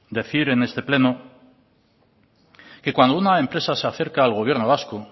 decir en este pleno que cuando una empresa se acerca al gobierno vasco